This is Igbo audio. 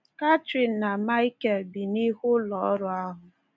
Catherine na Michael bi n’ihu ụlọọrụ ahụ.